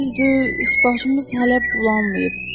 Düzdür, üst başımız hələ bulanmayıb.